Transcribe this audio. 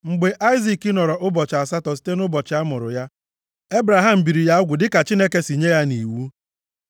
Mgbe Aịzik nọrọ ụbọchị asatọ site nʼụbọchị a mụrụ ya, Ebraham biri ya ugwu dịka Chineke si nye ya nʼiwu.